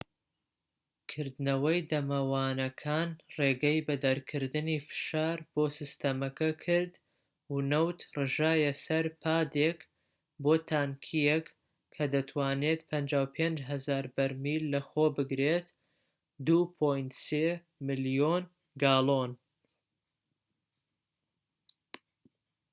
کردنەوەی دەمەوانەکان ڕێگەی بە دەرکردنی فشار بۆ سیستەمەکە کرد و نەوت ڕژایە سەر پادێک بۆ تانکیەک کە دەتوانێت 55,000 بەرمیل لەخۆ بگرێت 2.3 ملیۆن گاڵۆن